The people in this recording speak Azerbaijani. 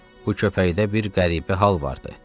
Bu köpəkdə bir qəribə hal vardı.